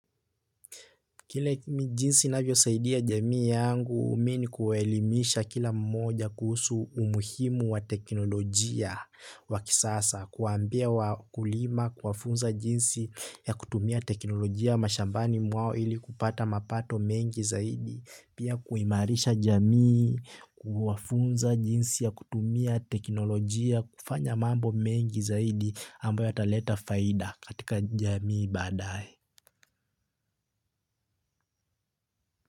Kile jinsi navyosaidia jamii yangu mini kuelimisha kila mmoja kuhusu umuhimu wa teknolojia wa kisasa, kuambia wakulima, kuwafunza jinsi ya kutumia teknolojia mashambani mwao ili kupata mapato mengi zaidi, pia kuimarisha jamii, kuwafunza jinsi ya kutumia teknolojia, kufanya mambo mengi zaidi ambayo ataleta faida katika jamii badaye.